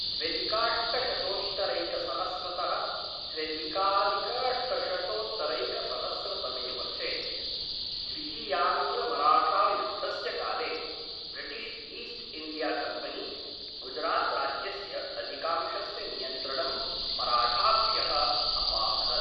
द्व्यधिकाष्टशतोत्तरैकसहस्रतः त्र्यधिकधिकाष्टशतोत्तरैकसहस्रतमे वर्षे द्वितीयाङ्ग्लमराठायुद्धस्य काले ब्रिटिश् ईस्ट् इण्डियाकम्पनी गुजरात्राज्यस्य अधिकांशस्य नियन्त्रणं मराठाभ्यः अपाहरत्।